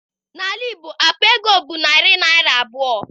N'ala Igbo, akpa ego bụ narị naịra abụọ